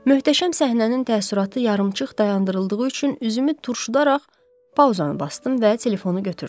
Möhtəşəm səhnənin təəssüratı yarımçıq dayandırıldığı üçün üzümü turşudaraq pauzanı basdım və telefonu götürdüm.